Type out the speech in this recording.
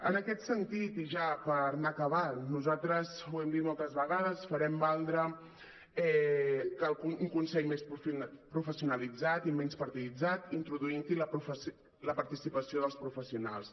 en aquest sentit i ja per anar acabant nosaltres ho hem dit moltes vegades farem valdre un consell més professionalitzat i menys partiditzat introduint·hi la participa·ció dels professionals